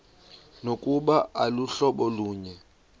nokuba aluhlobo lunye